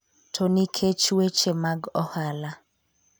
to nikech weche mag ohala.